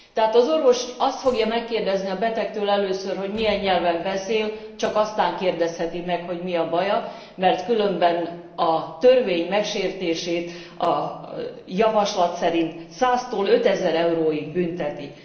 Tehát az orvos azt fogja megkérdezni a betegtől először, hogy milyen nyelven beszél, csak azt követően kérdezheti meg, hogy mi a baja, mert különben a törvény megsértését a javaslat szerint 100 tól 5000 euróig büntetik.